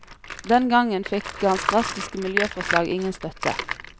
Den gangen fikk hans drastiske miljøforslag ingen støtte.